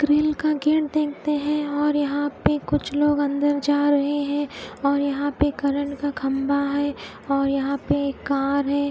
Grill का gate देखने है और कुछ लोग अंदर जा रहे है और यहा पे करंट का खम्भा है और यहा पे एक कार है।